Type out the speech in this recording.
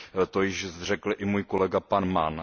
To již zde řekl i můj kolega pan Mann.